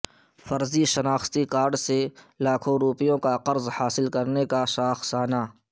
فرضی شناختی کارڈس سے لاکھوں روپیوں کا قرض حاصل کرنے کا شاخسانہ